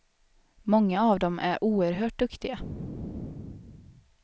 Många av dem är oerhört duktiga.